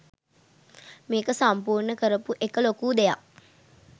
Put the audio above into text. මේක සම්පූර්ණ කරපු එක ලොකු දෙයක්.